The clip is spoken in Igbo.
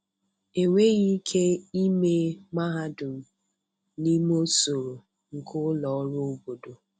Enweghị ike ịme mahadum n'ime usoro nke ụlọ ọrụ obodo.